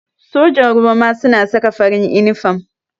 Sojan ruwa ma suna saka farin inifam